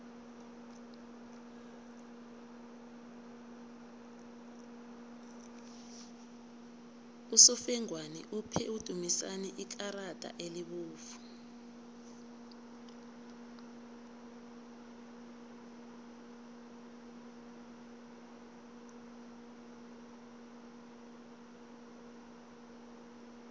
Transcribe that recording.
usofengwana uphe udumisani ikarada elibovu